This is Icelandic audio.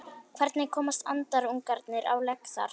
hvernig komast andarungarnir á legg þar